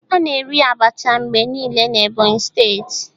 A na-eri Abacha mgbe niile n'Ebonyi steeti.